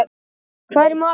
Stormur, hvað er í matinn?